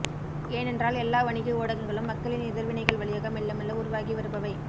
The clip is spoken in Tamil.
ஏனென்றால் எல்லா வணிக ஊடகங்களும் மக்களின் எதிர்வினைகள் வழியாக மெல்லமெல்ல உருவாகி வருபவை